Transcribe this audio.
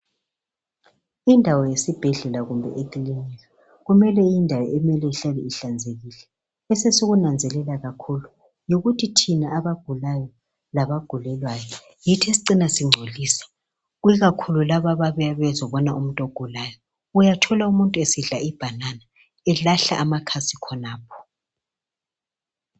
Indawo yesibhedlela kumbe ekilinika kumele indawo emele ihlale ihlanzekile esesikunanzelela kakhulu yikuthi thina abagulayo labagulelwayo yithi esicina singcolisa ikakhulu laba ababuya bezobona umuntu ogulayo uyathola umuntu esidla ibhanana elahla amakhasi khonapho.